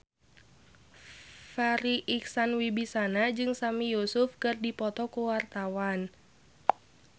Farri Icksan Wibisana jeung Sami Yusuf keur dipoto ku wartawan